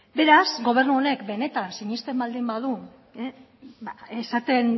beraz gobernu honek benetan sinesten baldin badu esaten